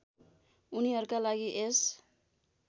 उनीहरूका लागि यस